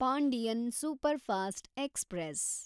Pandian superfast express